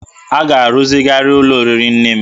A ga-arụzigharị ụlọ oriri nne m